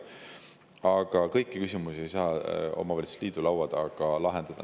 Aga kõiki küsimusi ei saa omavalitsusliidu laua taga lahendada.